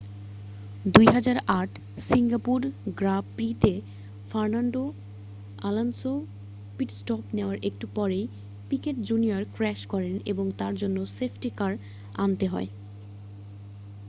2008 Singapore Grand প্রি-তে Fernando Alonso pit stop নেওয়ার একটু পরেই পিকেট জুনিয়র ক্র্যাশ করেন এবং তার জন্য সেফটি কার আনতে হয়